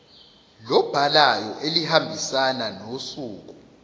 lobhalayo elihambisana nosuku